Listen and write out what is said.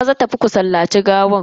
Maza tafi ku sallaci gawan.